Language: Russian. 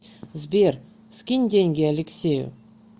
сбер скинь деньги алексею